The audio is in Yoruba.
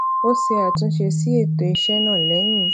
ó ṣe àtúnṣe sí ètò iṣé náà lẹyìn